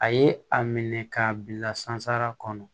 A ye a minɛ k'a bila sansara kɔnɔ